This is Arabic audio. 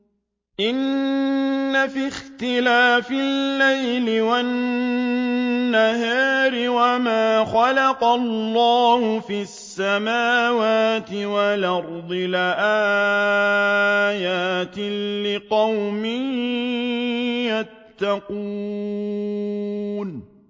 إِنَّ فِي اخْتِلَافِ اللَّيْلِ وَالنَّهَارِ وَمَا خَلَقَ اللَّهُ فِي السَّمَاوَاتِ وَالْأَرْضِ لَآيَاتٍ لِّقَوْمٍ يَتَّقُونَ